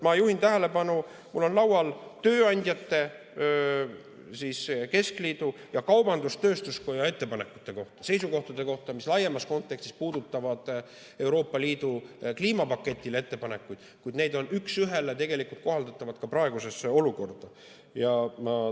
Ma juhin tähelepanu, et mul on laual tööandjate keskliidu ja kaubandus-tööstuskoja ettepanekud, seisukohad, mis laiemas kontekstis puudutavad ettepanekuid Euroopa Liidu kliimapaketi kohta, kuid need on üks ühele kohaldatavad ka praegusesse olukorda.